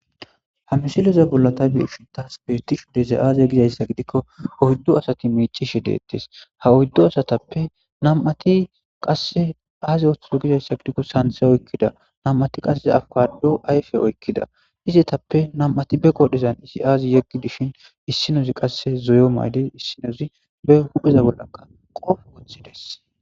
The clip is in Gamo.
ha misileza bollata beiqitas peetif deze aaze gizayssa gidikko oyddu asati miicishe deettes ha oyddu asatappe nam7ati qasse aaze oththuzo gizayssa gidikko santhe oykkida nam7ati qasseza awukado ayfe oykkida izetappe nam7ati be qodhezan isi aazi yeggi dishin issinozi qasse zoyo maydi issinozi be hupheza bollaka qof woththides